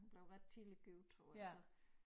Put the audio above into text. Hun blev ret tidligt gift tror jeg så